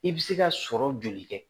I bɛ se ka sɔrɔ joli kɛ